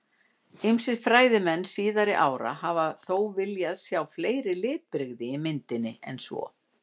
Ýmsir fræðimenn síðari ára hafa þó viljað sjá fleiri litbrigði í myndinni en svo.